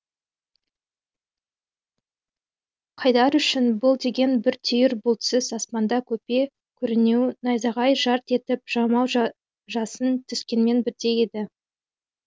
қайдар үшін бұл деген бір түйір бұлтсыз аспанда көпе көрінеу найзағай жарқ етіп жаумай жасын түскенмен бірдей еді